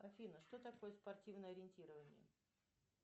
афина что такое спортивное ориентирование